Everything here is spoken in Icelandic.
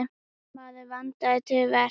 Maður vandaði til verka.